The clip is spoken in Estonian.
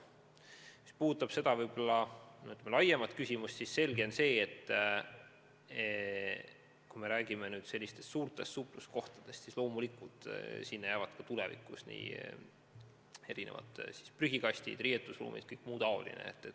Mis puudutab seda teemat laiemalt, siis on selge, et kui me räägime suurtest supluskohtadest, siis loomulikult neis on ka tulevikus prügikastid, riietusruumid ja kõik muu taoline.